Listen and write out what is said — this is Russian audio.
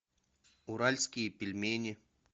уральские пельмени